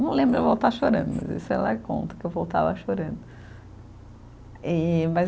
Não lembro de eu voltar chorando, mas isso ela conta, que eu voltava chorando. E mas